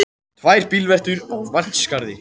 Tvær bílveltur í Vatnsskarði